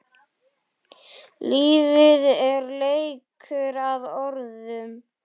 Lífið er leikur að orðum.